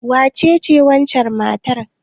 Wacece wancan matar?